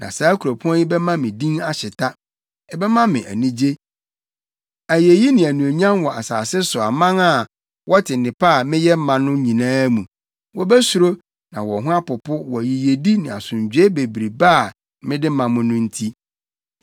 Na saa kuropɔn yi bɛma me din ahyeta, ɛbɛma me anigye, ayeyi ne anuonyam wɔ asase so aman a wɔte nnepa a meyɛ ma no nyinaa mu; wobesuro na wɔn ho apopo wɔ yiyedi ne asomdwoe bebrebe a mede ma no nti.’